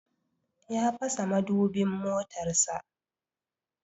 Ya fasa madubin motarsa.